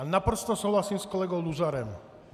A naprosto souhlasím s kolegou Luzarem.